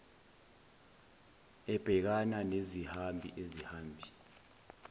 ebhekana nezihambi isihambi